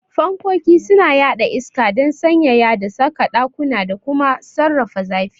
Fankkoki suna yaɗa iska don sanyaya da saka ɗakuna da kuma sarrafa zafi.